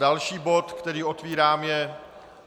Další bod, který otevírám, je